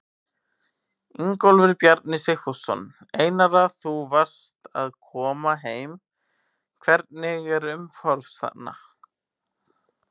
Ingólfur Bjarni Sigfússon: Einara þú varst að koma heim, hvernig er umhorfs hérna?